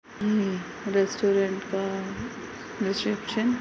हम्म restaurant का reception --